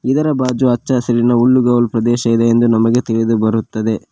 ಇದರ ಬಾಜು ಅಚ್ಚ ಹಸಿರಿನ ಹುಲ್ಲುಗಾವಲು ಪ್ರದೇಶ ಇದೆ ಎಂದು ನಮಗೆ ತಿಳಿದು ಬರುತ್ತದೆ.